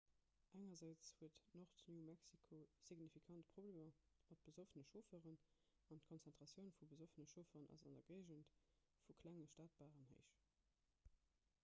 engersäits huet nord-new-mexico signifikant problemer mat besoffene chaufferen an d'konzentratioun vu besoffene chaufferen ass an der géigend vu klenge stadbaren héich